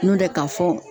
N'o tɛ k'a fɔ